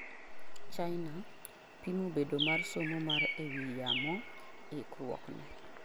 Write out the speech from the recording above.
China; pimo bedo mar somo mar e wi yamo ikruok ne